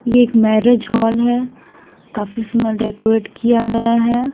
ये एक marriage hall है काफी इसमें डेकोरेट किया गया है।